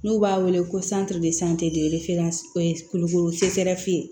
N'u b'a wele ko kulukoro